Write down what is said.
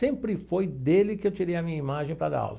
Sempre foi dele que eu tirei a minha imagem para dar aula.